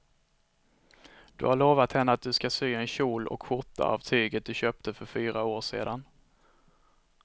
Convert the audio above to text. Du har lovat henne att du ska sy en kjol och skjorta av tyget du köpte för fyra år sedan.